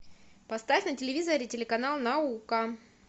поставь на телевизоре телеканал наука